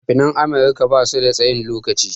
Fina-finan america basu da tsayin lokaci.